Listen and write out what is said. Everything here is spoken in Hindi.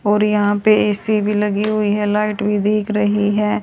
और यहां पे ए_सी भी लगी हुई है लाइट भी दिख रही है।